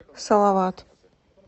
салават